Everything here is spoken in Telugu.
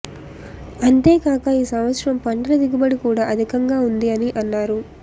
అంతేకాక ఈ సంవత్సరం పంటల దిగుబడి కూడా అధికం గా ఉంది అని అన్నారు